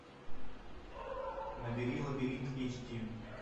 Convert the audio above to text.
набери лабиринт эйч ди